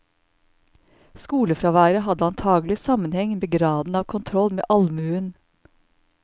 Skolefraværet hadde antagelig sammenheng med graden av kontroll med allmuen.